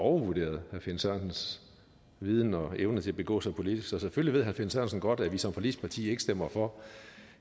overvurderet herre finn sørensens viden og evne til at begå sig politisk så selvfølgelig ved herre finn sørensen godt at vi som forligsparti ikke stemmer for